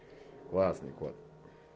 классный кот